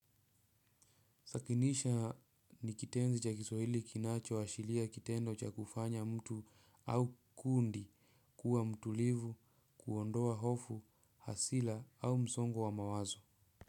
Sakinisha ni kitenzi cha kiswahili kinacho washiria kitendo cha kufanya mtu au kundi kuwa mtulivu kuondoa hufu hasila au msongo wa mawazo.